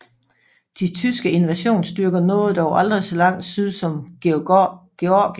De tyske invasionsstyrker nåede dog aldrig så langt syd som Georgien